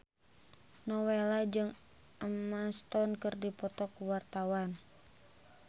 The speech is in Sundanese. Nowela jeung Emma Stone keur dipoto ku wartawan